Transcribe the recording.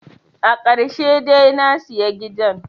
Akarshe de nasiya gidan